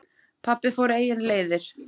Pabbi fór eigin leiðir.